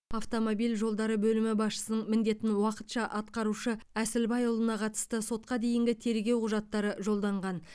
автомобиль жолдары бөлімі басшысының міндетін уақытша атқарушы әсілбайұлына қатысты сотқа дейінгі тергеу құжаттары жолданған